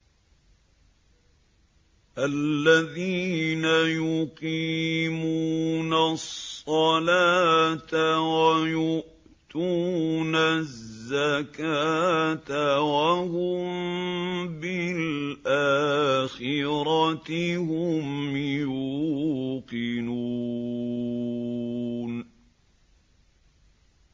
الَّذِينَ يُقِيمُونَ الصَّلَاةَ وَيُؤْتُونَ الزَّكَاةَ وَهُم بِالْآخِرَةِ هُمْ يُوقِنُونَ